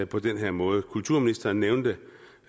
på den her måde kulturministeren nævnte